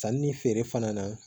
Sanni ni feere fana na